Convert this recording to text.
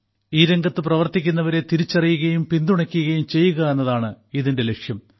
ഈ രംഗത്ത് പ്രവർത്തിക്കുന്നവരെ തിരിച്ചറിയുകയും പിന്തുണയ്ക്കുകയും ചെയ്യുക എന്നതാണ് ഇതിന്റെ ലക്ഷ്യം